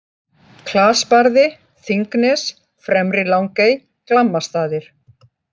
Klasbarði, Þingnes, Fremri-Langey, Glammastaðir